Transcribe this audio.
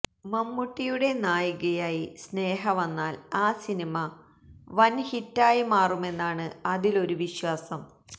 മമ്മൂട്ടിയുടെ നായികയായി സ്നേഹ വന്നാല് ആ സിനിമ വന് ഹിറ്റായി മാറുമെന്നാണ് അതില് ഒരു വിശ്വാസം